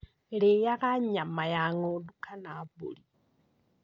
rĩaga nyama ya ng'ondu kana mbũri?